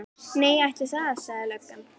Nei, ætli það, sagði löggan.